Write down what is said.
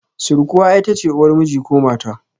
Sirkuwa itace uwar miji ko mata